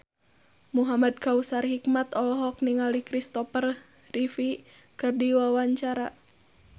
Muhamad Kautsar Hikmat olohok ningali Kristopher Reeve keur diwawancara